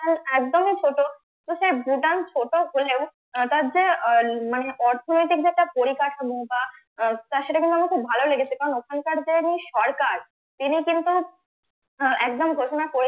একদমই ছোট তো সে ভুটান ছোট হলেও তার যে মানে অর্থনৈতিক যে একটা তার সাথে কোনো আমার ভালো লেগেছে কারন ওখানকার যে সরকার তিনি কিন্তু একদম ঘোষনা করে